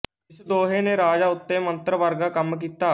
ਇਸ ਦੋਹੇ ਨੇ ਰਾਜਾ ਉੱਤੇ ਮੰਤਰ ਵਰਗਾ ਕੰਮ ਕੀਤਾ